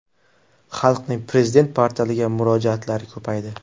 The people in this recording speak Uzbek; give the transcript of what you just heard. Xalqning Prezident portaliga murojaatlari ko‘paydi.